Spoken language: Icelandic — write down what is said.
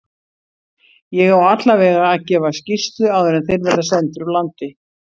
Ég á allavega að gefa skýrslu áður en þeir verða sendir úr landi.